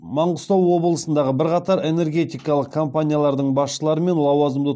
маңғыстау облысындағы бірқатар энергетикалық компаниялардың басшылары мен лауазымды